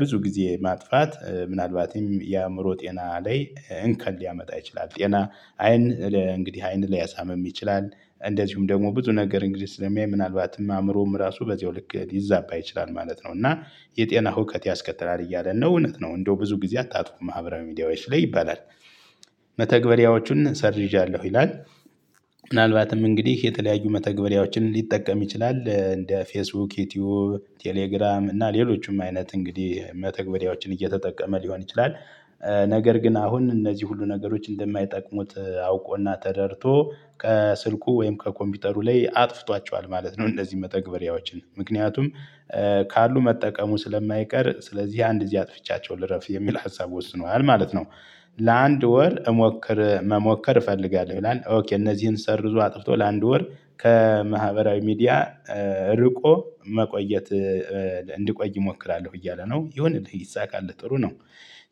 ብዙ ጊዜ ማጥፋት ምናልባትም የአእምሮ ጤና ላይ እንከን ሊያመጣ ይችላል። ጤና አይን እንግዲህ አይን ሊያሳምም ይችላል እንደዚሁም ደግሞ ብዙ ነገር እንግዲህ ስለሚያይ ምናልባትም አእምሮም ራሱ በዚያው ልክ ሊዛባ ይችላል ማለት ነው። እና የጤና ሁከት ያስከትላል እያለን ነው እውነት ነው። እንደው ብዙ ጊዜ አታጥፉ ማህበራዊ ሚዲያዎች ላይ ይባላል። መተግበሪያዎቹን ሰርዣለሁ ይላል። ምናልባትም እንግዲህ የተለያዩ መተግበሪያዎችን ሊጠቀም ይችላል እንደ ፌስቡክ ዩቲዩብ ቴሌግራም እና ሌሎችም አይነት እንግዲህ መተግበሪያዎችን እየተጠቀመ ሊሆን ይችላል። ነገር ግን አሁን እነዚህ ሁሉ ነገሮች እንደማይጠቅሙት አውቆና ተረድቶ ከስልኩ ወይም ከኮምፒውተሩ ላይ አጥፍቷቸዋል ማለት ነው። እነዚህ መተግበሪያዎችን ምክንያቱም ካሉ መጠቀሙ ስለማይቀር ስለዚህ አንድ ጊዜ አጥፍቻቸው ልረፍ የሚል ሀሳብ ወስኗል ማለት ነው። ለአንድ ወር መሞከር እፈልጋለሁ ይላል። ኦኬ እነዚህን ሰርዞ አጥፍቶ ለአንድ ወር ከማህበራዊ ሚዲያ ርቆ መቆየት እንድቆይ እሞክራለሁ እያለ ነው ይሁንልህ ይሳካልህ ጥሩ ነው።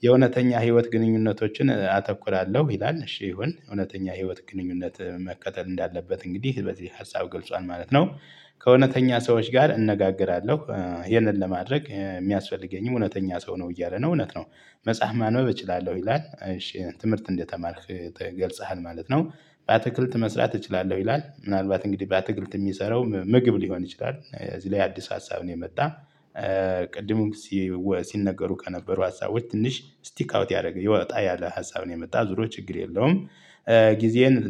የእውነተኛ ህይወት ግንኙነቶችን አተኩራለሁ ይላል እሺ ይሁን እውነተኛ ህይወት ግንኙነት መከተል እንዳለበት እንግዲህ በዚህ ሀሳብ ገልጿል ማለት ነው። ከእውነተኛ ሰዎች ጋር እነጋገራለሁ ይሄንን ለማድረግ የሚያስፈልገኝም እውነተኛ ሰው ነው እያለ ነው እውነት ነው። መጽሐፍ ማንበብ እችላለሁ ይላል። ትምህርት እንደተማርክ ገልጽሃል ማለት ነው። በአትክልት መስራት እችላለሁ ይላል ምናልባት እንግዲህ በአትክልት የሚሰራው ምግብ ሊሆን ይችላል እዚህ ላይ አዲስ ሀሳብ ነው የመጣ። ቅድም ሲነገሩ ከነበሩ ሀሳቦች ትንሽ ስቲክ አውት ያደረገ ወጣ ያለ ሀሳብ ነው የመጣ ዙሮ ችግር የለውም። ጊዜን